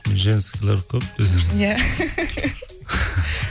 женскийлер көп десең иә